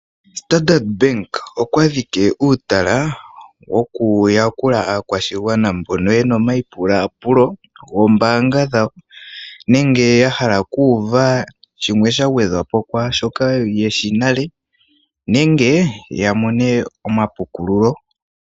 Standard bank okwa dhike uutala woku yakula aakwashigwana mbono yena omayipulapulo gombaanga dhawo nenge ya hala oku uva shimwe sha gwedhwa po kwaashoka yeshi nale nenge ya mone omapukululo.